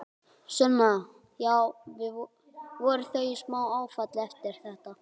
Sunna: Já, voru þau í smá áfalli eftir þetta?